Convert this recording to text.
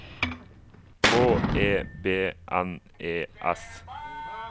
H E B N E S